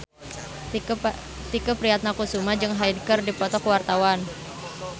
Tike Priatnakusuma jeung Hyde keur dipoto ku wartawan